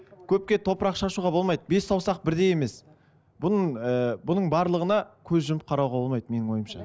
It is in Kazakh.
көпке топырақ шашуға болмайды бес саусақ бірдей емес бұның ыыы бұның барлығына көз жұмып қарауға болмайды менің ойымша